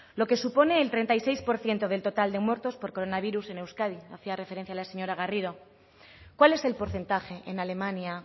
lo que supone el treinta y seis coma seis por ciento del total de muertos por coronavirus en euskadi hacia referencia la señora garrido cuál es el porcentaje en alemania